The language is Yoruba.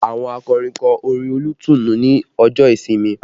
Àwọn akọrin kọ orin olùtùnú ní ọjọ́ ìsinmi